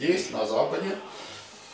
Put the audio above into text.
есть на западе